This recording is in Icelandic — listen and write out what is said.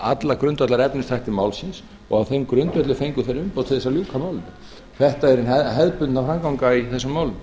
alla grundvallarefnisþætti málsins og á þeim grundvelli fengu þeir umboð til þess að ljúka málinu þetta er hin hefðbundna framganga í þessum málum